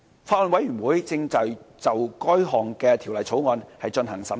法案委員會正對該條例草案進行審議。